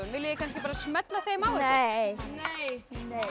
viljið þið kannski bara smella þeim á ykkur nei nei